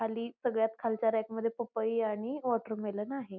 खाली सगळ्यात खालच्या रॅकमध्ये पपई आणि वॉटरमेलन आहे.